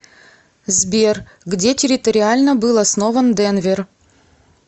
сбер где территориально был основан денвер